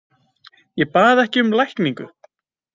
Ég bað ekki um lækningu.